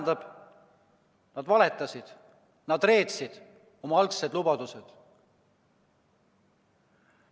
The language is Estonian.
See tähendab, et nad valetasid, nad reetsid oma algsed lubadused.